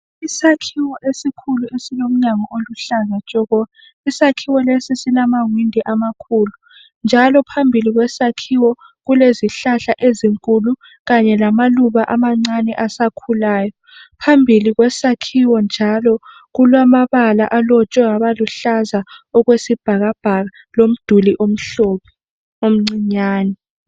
Isakhiwo esikhulu esilomnyango oluhlaza tshoko. Isakhiwo lesi silamawindo amakhulu njalo phambi kwaso kulezihlahla ezinkulu lamaluba amancane asakhulayo. Phambili kulamabala alotshwe abaluhlaza okwesibhakabhaka lomduli omhlophe omncinyane.